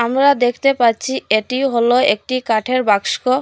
আমরা দেখতে পাচ্ছি এটি হল একটি কাঠের বাস্কো।